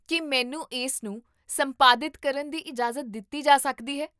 ਕੀ ਮੈਨੂੰ ਇਸ ਨੂੰ ਸੰਪਾਦਿਤ ਕਰਨ ਦੀ ਇਜਾਜ਼ਤ ਦਿੱਤੀ ਜਾ ਸਕਦੀ ਹੈ?